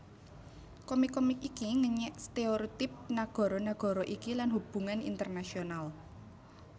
Komik komik iki ngenyèk stéréotip nagara nagara iki lan hubungan internasional